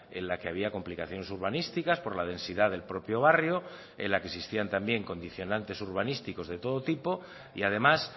en la que había complicaciones urbanísticas por la densidad del propio barrio en la que existían también condicionantes urbanísticos de todo tipo y además